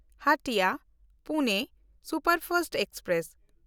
ᱦᱟᱴᱤᱭᱟ–ᱯᱩᱱᱮ superfast express